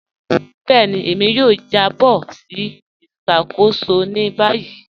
Bẹẹni, èmi yóò jàbọ̀ sí ìṣakóṣò ní báyì.